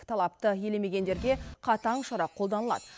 талапты елемегендерге қатаң шара қолданылады